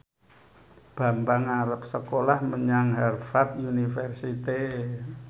Bambang arep sekolah menyang Harvard university